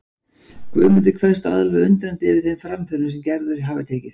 Guðmundur kveðst alveg undrandi yfir þeim framförum sem Gerður hafi tekið.